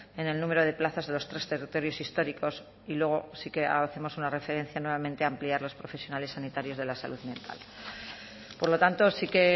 en el número de plazas de los tres territorios históricos y luego sí que hacemos una referencia nuevamente a ampliar los profesionales sanitarios de la salud mental por lo tanto sí que